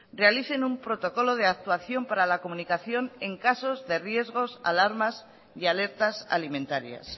realicen un protocolo de actuación para la comunicación en casos de riesgos alarmas y alertas alimentarias